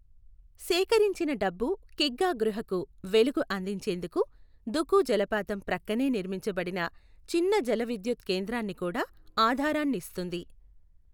సేకరించిన డబ్బు కిగ్గా గృహకు వెలుగు అందించేందుకు దుకు జలపాతం ప్రక్కనే నిర్మించబడిన చిన్న జల విద్యుత్ కేంద్రాన్ని కూడా ఆధారాన్ని ఇస్తుంది.